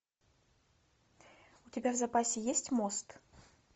у тебя в запасе есть мост